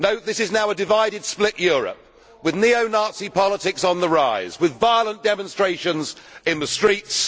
No, this is now a divided, split Europe, with neo Nazi politics on the rise and violent demonstrations in the streets.